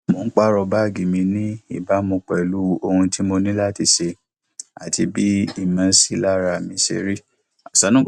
mo ń pààrọ báàgì mi ní ìbámu pẹlú ohun tí mo ní ṣe àti bí ìmọsílára mi ṣe rí